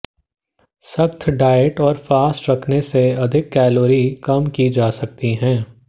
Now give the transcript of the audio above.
सख्त डाइट और फास्ट रखने से अधिक कैलोरी कम की जा सकती है